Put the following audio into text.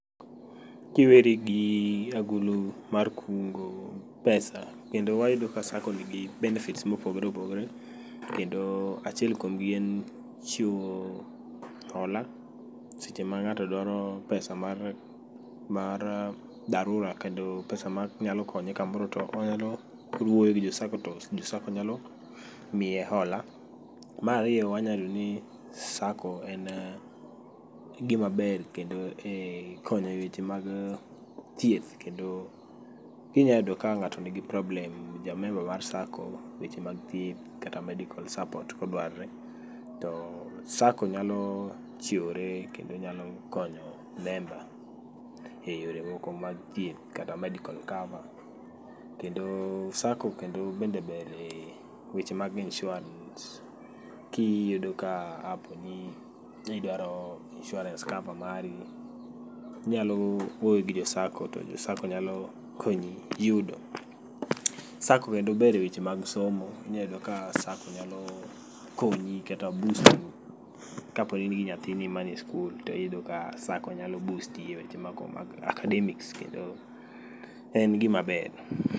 Kiweri gi agulu mar kungo pesa, kendo wayudo ka Sacco nigi benefits mopogore opogore. Kendo achiel kuomgi en chiwo hola, seche ma ng'ato dwaro pesa mar, mar dharura kendo pesa ma nyalo konye kamoro to onyalo wuoyo gi jo Sacco nyalo miye hola. Marariyo wanyayudoni Sacco en gimaber kendo e konyo e weche mag thieth. Kendo kinyayudo ka ng'ato nigi problem, ja member mar Sacco, weche mag thieth kata medical support kodwarore. To Sacco nyalo chiwore kendo nyalo konyo member e yore moko mag thieth kata medical cover. Kendo Sacco kendo bende ber e weche mag inshuarans kiyudo ka app ni kiduaro insurance cover mari. Inyalo wuoyo gi jo Sacco to jo Sacco nyalo konyi yudo. Sacco kendo ber e weche mag somo, inyayudo ka Sacco nyalo konyi kata busti e weche moko mag academics kendo en gima ber.